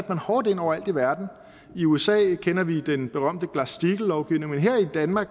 man hårdt ind overalt i verden i usa kender vi den berømte glass steagall lovgivning men her i danmark